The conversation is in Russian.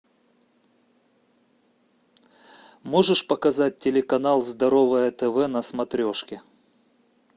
можешь показать телеканал здоровое тв на смотрешке